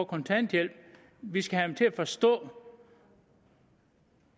kontanthjælp vi skal have dem til at forstå